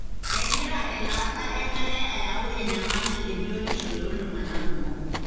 kengira elaata enkare ayau enyamali ebiotisho toltunganaa kumok.